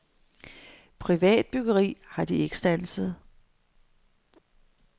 Privat byggeri har de ikke standset.